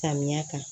Samiya kan